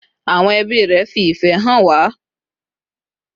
Awon ebi re fi ife han wa